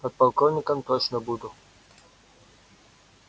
подполковником точно буду